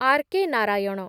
R.K.. Narayan